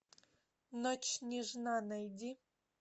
ночь нежна найди